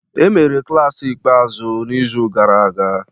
Emere klaasị ikpeazụ n'izu gara aga